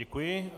Děkuji.